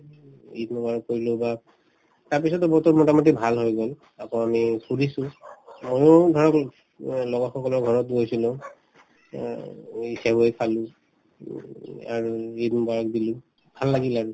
ঈদ মোবাৰক কৰিলো তাৰপিছতে বতৰ মোতামতি ভাল হৈ গল আকৌ আমি ফুৰিছো ময়ো ধৰক এই অ মই লগৰ সকলৰ ঘৰত গৈছিলো অ এই চেৱাই খালো উম আৰু ঈদ মোবাৰক দিলো ভাল লাগিল আৰু